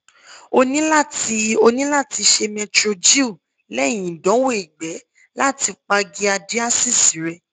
oni la ti oni la ti se metrogyl lẹ́hìn ìdánwò ìgbẹ́ lati pa giardiasis re